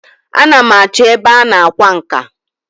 A na m achọ ebe a na-akwa nka.